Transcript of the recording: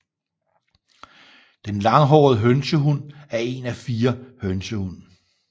Den Langhåret hønsehund er en af fire hønsehund